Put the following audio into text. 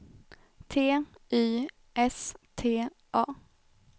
T Y S T A